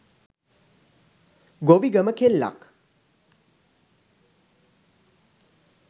ගොවිගම කෙල්ලක්.